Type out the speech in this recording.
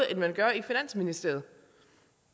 end man gør i finansministeriet